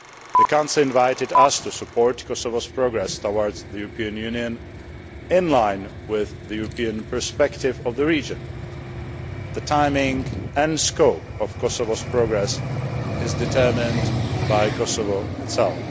The Council invited us to support Kosovo's progress towards the European Union, in line with the European perspective of the region. The timing and scope of Kosovo's progress is determined by Kosovo itself.